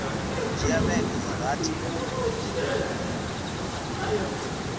dzhia vhege dza rathi u